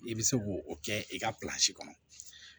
I bɛ se k'o kɛ i ka kɔnɔ